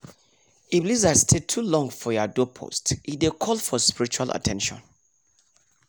if lizard stay too long for ya doorpost e dey call for spiritual at ten tion